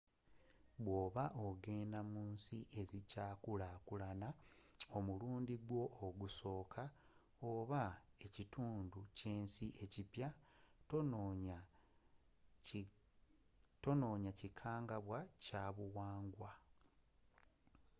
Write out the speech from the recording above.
bwoba ogenda mu nsi ezikya kulaakulana omulundi gwo ogusooka – oba mu kitundu ky’ensi ekipya – tonyooma kikangabwa kya buwangwa